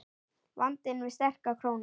Vandinn við sterka krónu